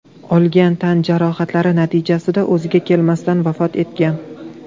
olgan tan jarohatlari natijasida o‘ziga kelmasdan vafot etgan.